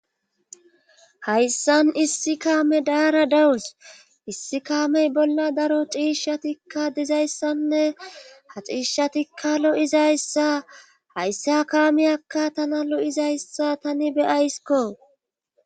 hayssan issi kaame daara dawus issi kaamey bolla daro xiishshatikka dizayssanne ha xiishshatikka lo7izayssa hayssa kaamiyakka tana lo7izayssa tani beyayskko